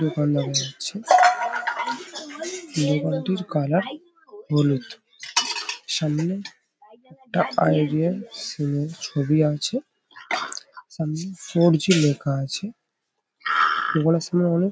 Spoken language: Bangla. দোকান দেখা যাচ্ছে। দোকানটির কালার হলু্‌দ সামনে আইডিয়া সিম -এর ছবি আছে সামনে ফোর জি লেখা আছে । দোকানের সামনে অনেক --